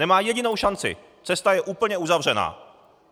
Nemá jedinou šanci, cesta je úplně uzavřena.